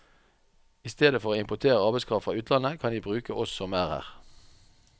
I stedet for å importere arbeidskraft fra utlandet, kan de bruke oss som er her.